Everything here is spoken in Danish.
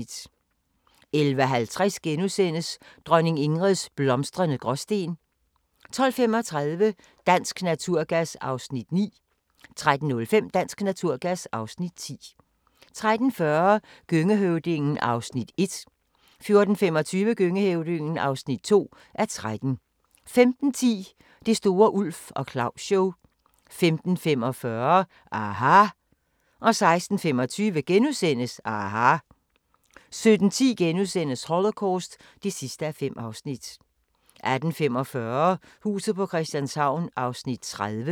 11:50: Dronning Ingrids blomstrende Gråsten * 12:35: Dansk Naturgas (Afs. 9) 13:05: Dansk Naturgas (Afs. 10) 13:40: Gøngehøvdingen (1:13) 14:25: Gøngehøvdingen (2:13) 15:10: Det store Ulf og Claus-show 15:45: aHA! 16:25: aHA! * 17:10: Holocaust (5:5)* 18:45: Huset på Christianshavn (30:84)